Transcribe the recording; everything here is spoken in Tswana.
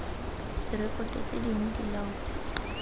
direkoto tse dingwe di laolwa